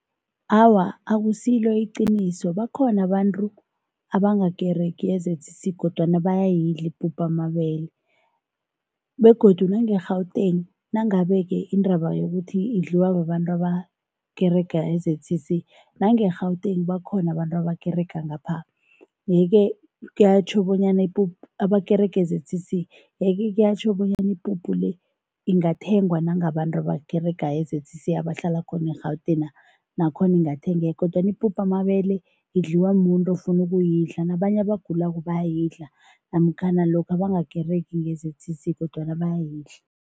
Awa, akusilo iqiniso. Bakhona abantu abangakeregi e-Z_C_C kodwana bayayidla ipuphu yamabele begodu nange-Gauteng, nangabe-ke indaba yokuthi idliwa babantu abakerega e-Z_C_C, nange-Gauteng bakhona abantu abakerega ngapha yeke kuyatjho bonyana abakerega e-Z_C_C, yeke kuyatjho bonyana ipuphu le, ingathengwa nangabantu abakerega e-Z_C_C abahlala khona eRhawutengha, nakhona ingathengeka kodwana ipuphu yamabele idliwa muntu ofuna ukuyidla nabanye abagulako bayayidla namkhana lokha bangakeregi-ke e-Z_C_C kodwana bayayidla.